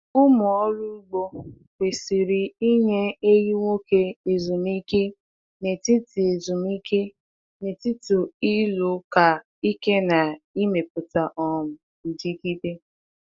Ụmụ ọrụ ugbo kwesịrị inye ehi nwoke ezumike n’etiti ezumike n’etiti ịlụ ka ike na imepụta um dịgide.